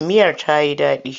Miyar ta yi daɗi?